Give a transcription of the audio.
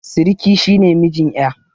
Siriki shi ne mijin ƴa.